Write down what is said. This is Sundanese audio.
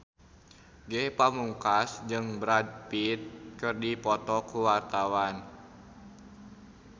Ge Pamungkas jeung Brad Pitt keur dipoto ku wartawan